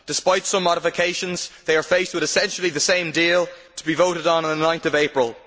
Despite some modifications, they are faced with essentially the same deal in the vote to be held on 9 April.